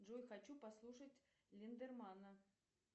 джой хочу послушать линдермана